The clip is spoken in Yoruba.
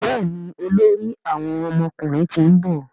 Béèni olórí àwọn ọmọkùnrin t'in nbọ.